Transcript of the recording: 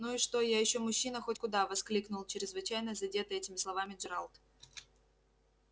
ну и что я ещё мужчина хоть куда воскликнул чрезвычайно задетый этими словами джералд